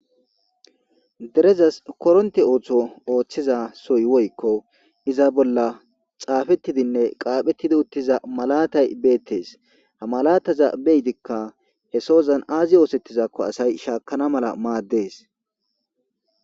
derezas koronti ooththo ooththiza soy woykko iza bolla xaafettidinne qaaphettidi uttiza malatay beettees ha malataza beydikka he sozan aazi oosettizakko asay shaakana mala maaddees